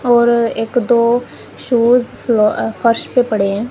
और एक दो शूज फ्लो अह फर्श पे पड़े हैं।